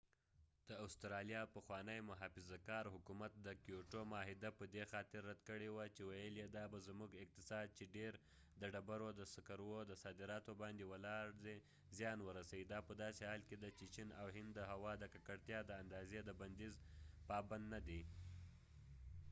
د استرالیا پخوانی محافظه کار حکومت د کېوټو معاهده په دي خاطر رد کړي وه چې ويل یې دا به زمونړ اقتصاد چې ډیر د ډبرو د سکرو د صادراتو باندي ولار دي زیان ورسوي دا په داسې حال کې ده چې چېن او هند د هوا د ککړتیا د اندازی د بنديز بابند نه دي